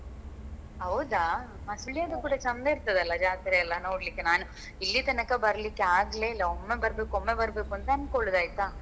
ಹೌದಾ Sullia ದ್ದು ಕೂಡ ಚೆಂದ ಇರ್ತದಲ್ಲ ಜಾತ್ರೆಯೆಲ್ಲ ನೋಡ್ಲಿಕ್ಕೆ ನಾನ್ ಇಲ್ಲಿ ತನಕ ಬರ್ಲಿಕ್ಕೆ ಆಗ್ಲೇ ಇಲ್ಲ ಒಮ್ಮೆ ಬರ್ಬೇಕು ಒಮ್ಮೆ ಬರ್ಬೇಕು ಅಂತ ಅನ್ಕೋಳ್ಳುದು ಆಯ್ತಾ.